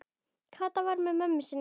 Kata var með mömmu sinni.